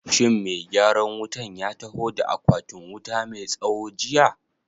Shin mai gyaran wutan ya taho da akwatin wuta mai tsawo jiya?